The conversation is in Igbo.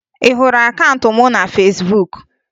Ị hụrụ akaụntụ m na Fesbuk?